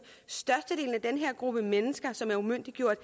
størstedelen af den her gruppe mennesker som er umyndiggjort